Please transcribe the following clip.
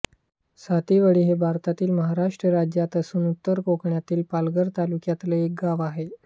सातीवळी हे भारतातील महाराष्ट्र राज्यात असून उत्तर कोकणातल्या पालघर तालुक्यातले एक गाव आहे